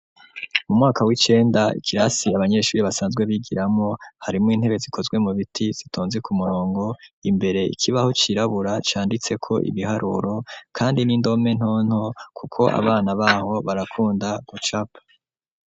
Mu mwaka w'icenda, ikirasi abanyeshuri basanzwe bigiramwo, harimwo intebe zikozwe mu biti zitonze ku murongo; imbere ikibaho cirabura canditseko ibiharuro, kandi n'indome ntonto kuko abana b'aho barakunda gucapa.